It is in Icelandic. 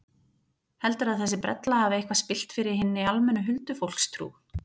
Heldurðu að þessi brella hafi eitthvað spillt fyrir hinni almennu huldufólkstrú?